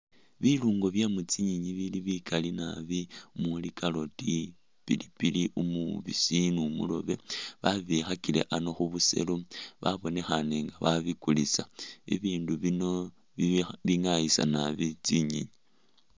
Biluungo bye mu tsinyenyi bili bikali nabi muli carrot, pilipili umubisi ni umurobe, babikhakile ano khu buselo babonekhaane nga babikulisa. Bibindu bino bingaayisa nabi tsinyenyi.